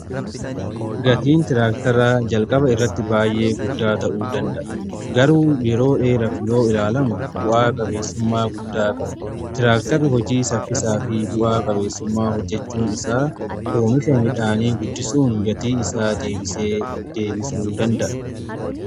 Gatiin tiraaktara jalqaba irratti baay'ee guddaa ta'uu danda'a garuu yeroo dheeraf yoo ilaalamu bu'aa qabeessummaa guddaa qaba. Tiraaktarri hojii saffisaa fi bu'aa qabeessummaa hojjechuu isaa oomisha midhaanii guddisuun gatii isaa deebisee deebisuu danda'a.